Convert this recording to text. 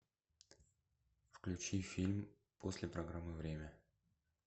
включи фильм после программы время